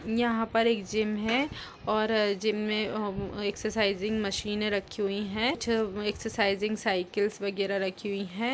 यहाॅं पर एक जिम है और जिम में हम एक्सरसाइजइंग मशीन रखी हुई हैं जो एक्सरसाइजइंग साइकिल्स वगैरह रखी हुई हैं।